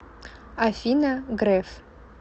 афина греф